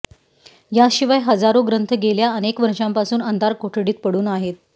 याशिवाय हजारो ग्रंथ गेल्या अनेक वर्षांपासून अंधार कोठडीत पडून आहेत